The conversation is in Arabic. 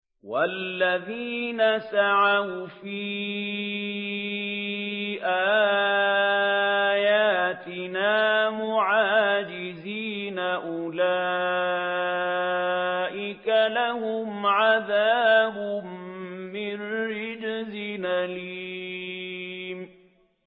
وَالَّذِينَ سَعَوْا فِي آيَاتِنَا مُعَاجِزِينَ أُولَٰئِكَ لَهُمْ عَذَابٌ مِّن رِّجْزٍ أَلِيمٌ